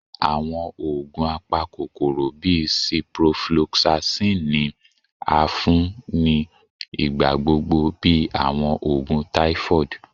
Awọn oogun apakokoro bii ciprofloxacin ni a fun ni igbagbogbo bi awọn oogun typhoid